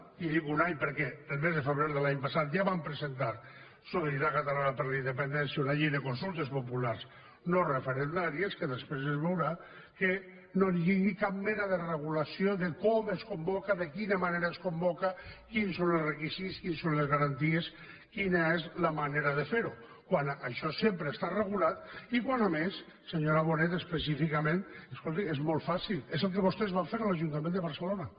i dic un any perquè el mes de febrer de l’any passat ja vam presentar solidaritat catalana per la independència una llei de consultes populars no referendàries que després es veurà que no lligui cap mena de regulació de com es convoca de quina manera es convoca quins són els requisits quines són les garanties quina és la manera de fer ho quan això sempre ha estat regulat i quan a més senyora bonet específicament escolti és molt fàcil és el que vostès van fer a l’ajuntament de barcelona